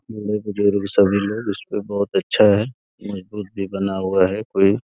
सभी लोग। उसपे बहुत अच्छा है। मजबूत भी बना हुआ है कोई।